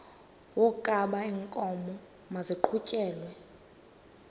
wokaba iinkomo maziqhutyelwe